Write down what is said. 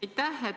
Aitäh!